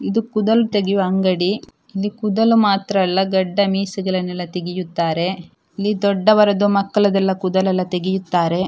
ಇದು ಕುದಲ್‌ ತೆಗೆಯುವ ಅಂಗಡಿ ಇಲ್ಲಿ ಕೂದಲ್‌ ಮಾತ್ರ ಅಲ್ಲ ಗಡ್ಡ ಮೀಸೆಗಳನ್ನೆಲ್ಲಾ ತೆಗೆಯುತ್ತಾರೆ ಇಲ್ಲಿ ದೊಡ್ಡವರದು ಮಕ್ಕಳದು ಕೂದಲೆಲ್ಲಾ ತೆಗೆಯುತ್ತಾರೆ .